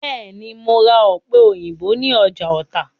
Bẹ́ẹ̀ ni, mo ra ọ̀pẹ̀- òyìnbó ní ọjà Ọ̀tà.